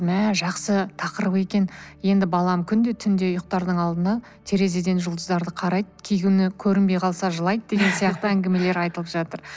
мә жақсы тақырып екен енді балам күнде түнде ұйықтардың алдында терезеден жұлдыздарды қарайды кей күні көрінбей қалса жылайды деген сияқты әңгімелер айтылып жатыр